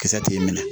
Kisɛ tɛ minɛ